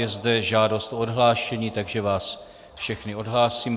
Je zde žádost o odhlášení, takže vás všechny odhlásím.